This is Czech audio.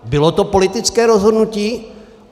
Bylo to politické rozhodnutí.